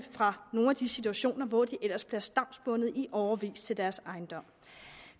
nogle af de situationer hvor de ellers bliver stavnsbundet i årevis til deres ejendom